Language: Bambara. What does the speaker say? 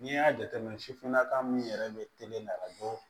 N'i y'a jateminɛ sifinnaka min yɛrɛ bɛ teli a bɔ